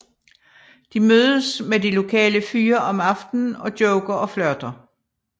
De mødes med de lokale fyre om aftenen og joker og flirter